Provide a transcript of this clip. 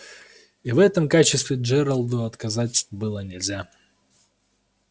и в этом качестве джералду отказать было нельзя